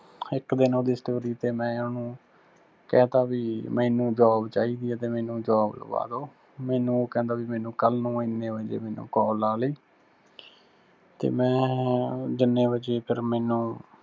ਇੱਕ ਦਿਨ ਉਹਦੀ story ਤੇ ਮੈਂ ਉਹਨੂੰ ਕਹਿਤਾ ਵੀ ਮੈਨੂੰ job ਚਾਹੀਦੀ ਆ ਤੇ ਮੈਨੂੰ job ਲੁਆਦੋ, ਮੈਨੂੰ ਉਹ ਕਹਿੰਦਾ ਵੀ ਮੈਨੂੰ ਕੱਲ ਨੂੰ ਇੰਨੇ ਵਜੇ ਮੈਨੂੰ call ਲਾਲਈਂ। ਤੇ ਮੈਂ ਜਿੰਨੇ ਵਜੇ ਫਿਰ ਮੈਨੂੰ